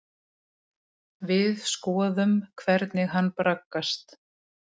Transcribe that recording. Við skoðum hvernig hann braggast.